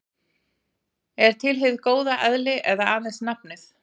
Er til hið góða eðli eða aðeins nafnið?